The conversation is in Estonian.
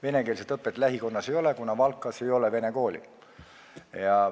Venekeelset õpet lähikonnas ei ole, kuna Valkas ei ole vene kooli.